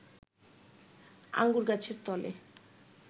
আঙুর গাছের তলে